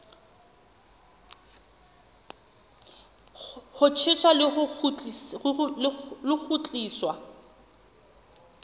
ho tjheswa le ho kgutliswa